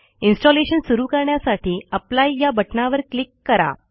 installation सुरू करण्यासाठी apply या बटणावर क्लिक करा